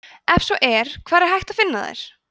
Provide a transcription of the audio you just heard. ef svo er hvar er hægt að finna þær